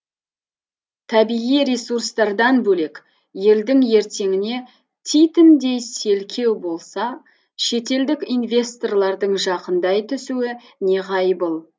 табиғи ресурстардан бөлек елдің ертеңіне титімдей селкеу болса шетелдік инвесторлардың жақындай түсуі неғайбыл